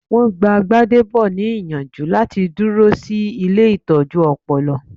Wọn gbáà Gbádébò ní ìyànjú láti dúró sí ilée ìtọ́jú ọpọlọ